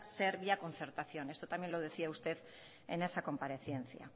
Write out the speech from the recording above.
ser vía concertación esto también lo decía usted en esa comparecencia